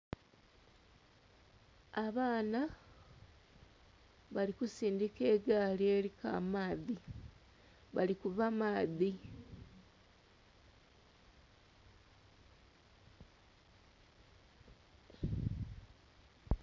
Abaana balikusindika egaali eriku amaadhi, bali kuva maadhi .....